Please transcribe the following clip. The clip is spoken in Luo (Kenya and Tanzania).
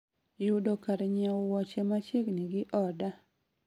yudo kar nyieo wuoche machiegni gi oda